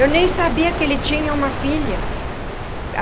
Eu nem sabia que ele tinha uma filha.